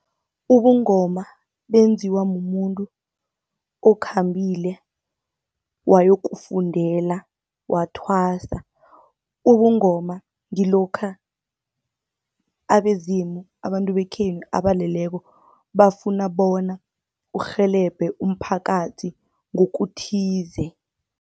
Ubungoma benziwa mumuntu okhambile wayokufundela, wathwasa. Ubungoma ngilokha abezimu abantu bekhenu abaleleko bafuna bona urhelebhe umphakathi ngokuthize.